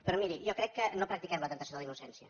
però miri jo crec que no practiquem la temptació de la innocència